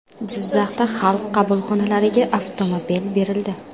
Jizzaxda Xalq qabulxonalariga avtomobil berildi.